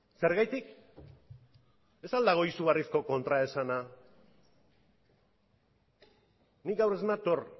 zergatik ez al dago izugarrizko kontraesana nik gaur ez nator